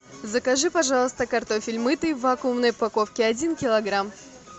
закажи пожалуйста картофель мытый в вакуумной упаковке один килограмм